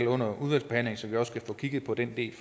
under udvalgsbehandlingen så vi også kan få kigget på den del